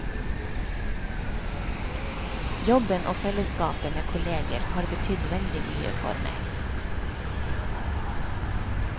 Jobben og fellesskapet med kolleger har betydd veldig mye for meg.